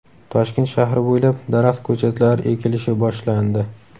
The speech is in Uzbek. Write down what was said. Toshkent shahri bo‘ylab daraxt ko‘chatlari ekilishi boshlandi .